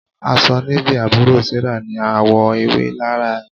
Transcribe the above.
Aṣọ Navy àbúrò Sarah ní àwọ̀ ewé lára ẹ̀.